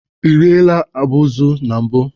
Ị riela abụzụ na mbụ?